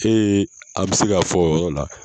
an bɛ se k'a fɔ o yɔrɔ la.